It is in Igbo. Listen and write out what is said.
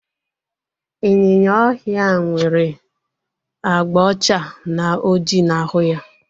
Ịnyịnya ọhịa nwere abga ọcha na ọjị na ahụ ya